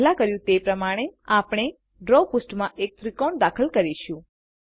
પહેલા કર્યું તે પ્રમાણે આપણે ડ્રો પૃષ્ઠમાં એક ત્રિકોણ દાખલ કરીશું